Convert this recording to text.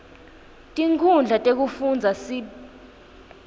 tinkhundla tekufundza sib